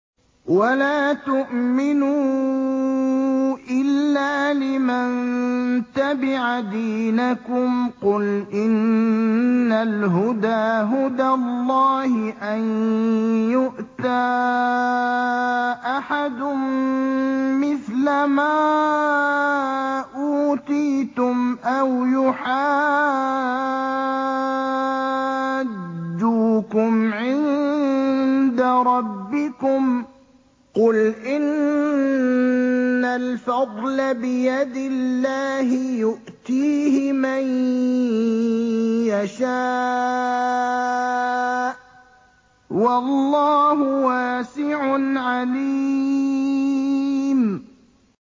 وَلَا تُؤْمِنُوا إِلَّا لِمَن تَبِعَ دِينَكُمْ قُلْ إِنَّ الْهُدَىٰ هُدَى اللَّهِ أَن يُؤْتَىٰ أَحَدٌ مِّثْلَ مَا أُوتِيتُمْ أَوْ يُحَاجُّوكُمْ عِندَ رَبِّكُمْ ۗ قُلْ إِنَّ الْفَضْلَ بِيَدِ اللَّهِ يُؤْتِيهِ مَن يَشَاءُ ۗ وَاللَّهُ وَاسِعٌ عَلِيمٌ